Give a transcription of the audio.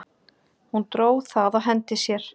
Hún dró það á hendi sér.